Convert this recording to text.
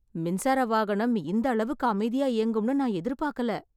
மின்சார வாகனம் இந்த அளவுக்கு அமைதியா இயங்கும்னு நான் எதிர்பாக்கல